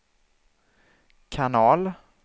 kanal